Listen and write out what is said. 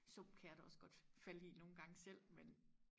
sump kan jeg da også godt falde i nogengange selv men